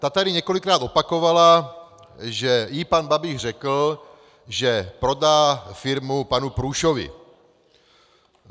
Ta tady několikrát opakovala, že jí pan Babiš řekl, že prodá firmu panu Průšovi.